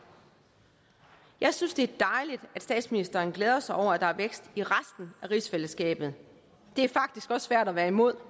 jeg synes det er dejligt at statsministeren glæder sig over at der er vækst i resten af rigsfællesskabet det er faktisk også svært at være imod